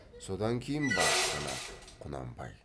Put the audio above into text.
содан кейін барып қана құнанбай